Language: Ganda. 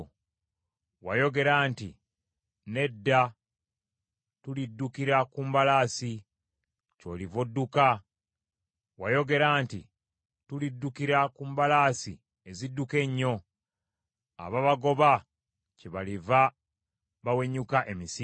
Wayogera nti, ‘Nedda tuliddukira ku mbalaasi.’ Kyoliva odduka. Wayogera nti, ‘Tuliddukira ku mbalaasi ezidduka ennyo.’ Ababagoba kyebaliva bawenyuka emisinde.